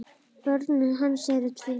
Börn hans eru tvö.